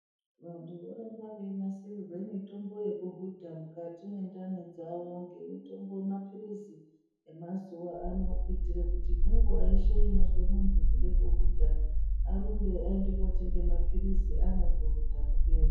Vantu vorambe veinasirirwe mitombo yekuhudha mukati mwendani dzavo ngemitombo mapirizi emazuva ano kuitire kuti ngenguwa yeshe inozwe muntu kude kuhudha arumbe aende kotenge mapirizi kuhudha kupere.